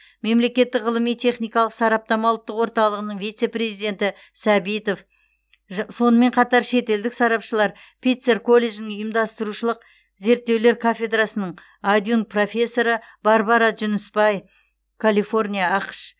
мемлекеттік ғылыми техникалық сараптама ұлттық орталығының вице президенті сәбитов жә сонымен қатар шетелдік сарапшылар питцер колледжінің ұйымдастырушылық зерттеулер кафедрасының адъюнкт профессоры барбара джунисбай калифорния ақш